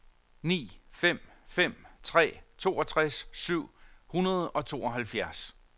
ni fem fem tre toogtres syv hundrede og tooghalvfjerds